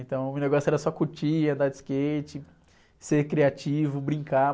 Então, o meu negócio era só curtir, andar de skate, ser criativo, brincar.